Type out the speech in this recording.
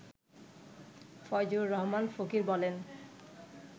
ফয়জুর রহমান ফকির বলেন